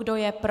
Kdo je pro?